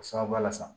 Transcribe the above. O sababuya la sa